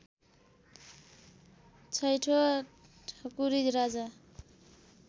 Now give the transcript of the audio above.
छैँठो ठकु्री राजा